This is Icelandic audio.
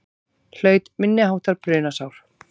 Hlaut minniháttar brunasár